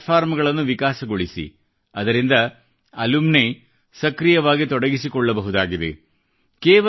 creative ಪ್ಲಾಟ್ಫಾರ್ಮಗಳನ್ನು ವಿಕಾಸಗೊಳಿಸಿ ಅದರಿಂದ ಅಲುಮಿನಿ ಸಕ್ರಿಯವಾಗಿ ತೊಡಗಿಸಿಕೊಳ್ಳಬಹುದಾಗಿದೆ